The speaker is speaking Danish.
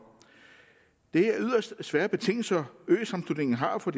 det er yderst svære betingelser øsammenslutningen har for